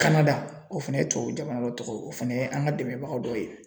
Kanada o fɛnɛ ye tubabu jamana dɔ tɔgɔ ye o fana ye an ka dɛmɛbaga dɔw ye.